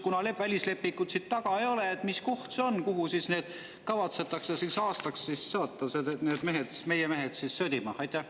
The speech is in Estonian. Kuna välislepingut siin taga ei ole, siis küsin, mis koht see on, kuhu kavatsetakse meie mehed aastaks sõdima saata.